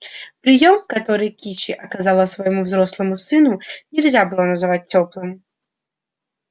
приём который кичи оказала своему взрослому сыну нельзя было назвать тёплым